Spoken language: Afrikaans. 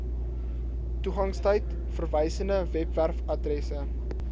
toegangstyd verwysende webwerfaddresse